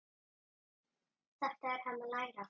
Þetta er hann að læra!